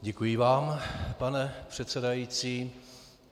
Děkuji vám, pane předsedající.